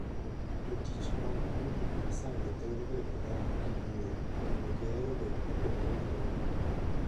Jotich mag udi ma isando thoro bedo ka gikuyo, kendo gihero bet mopogore gi joot.